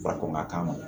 Fara ɲɔgɔn ka kan